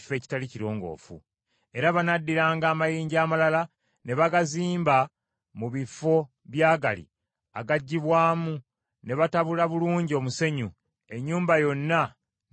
Era banaddiranga amayinja amalala ne bagazimba mu bifo by’agali agaggyibwamu, ne batabula bulungi omusenyu, ennyumba yonna n’ekubibwa omusenyu.